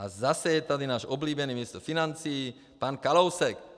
A zase je tady náš oblíbený ministr financí pan Kalousek.